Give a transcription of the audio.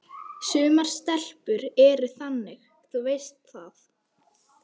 Sumar stelpur eru þannig, þú veist það.